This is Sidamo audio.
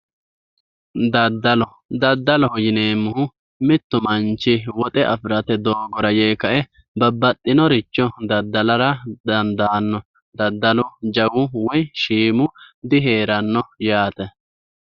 Daddalo, daddaloho yineemmohu mittu manchi woxe afi'rate doogora yee babbaxxinoricho daddalara dandaano daddalu jawu woyi shiimu diheerano yaa dandiinanni.